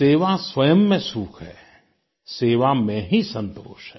सेवा स्वयं में सुख है सेवा में ही संतोष है